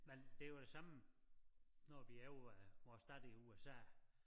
Men det jo det samme når vi er over ved vores datter i USA